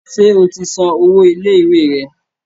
Ṣé o ti san owó ilé ìwé rẹ?